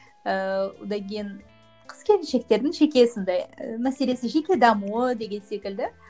ыыы одан кейін қыз келіншектердің жеке сондай і мәселесі жеке дамуы деген секілді